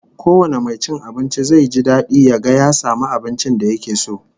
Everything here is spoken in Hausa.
Kowane mai cin abinci zai ji dadi ya ga ya samu abincin da yake so